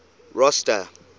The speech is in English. rosta